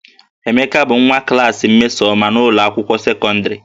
Emeka bụ nwa klaasị Mmesoma n'ụlọ akwụkwọ sekọndịrị